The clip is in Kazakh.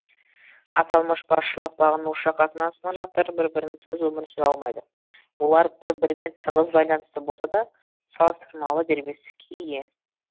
аталмыш басшылық бағынушы қатынасының жақтары бір бірінсіз өмір сүре алмайды олар бір бірімен тығыз байланысты болса да салыстырмалы дербестікке ие